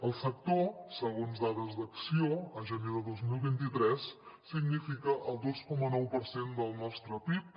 el sector segons dades d’acció a gener de dos mil vint tres significa el dos coma nou per cent del nostre pib